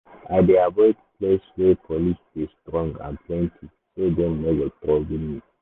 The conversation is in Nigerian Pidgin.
i dey avoid place wey police dey strong and plenty so dem no go trouble me.